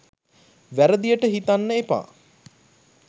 වැරදියට හිතන්න එපා.